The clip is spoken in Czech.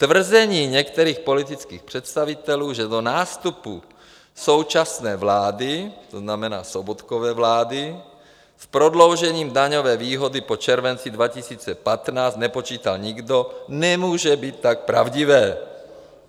Tvrzení některých politických představitelů, že do nástupu současné vlády, to znamená Sobotkovy vlády, s prodloužením daňové výhody po červenci 2015 nepočítá nikdo, nemůže být tak pravdivé.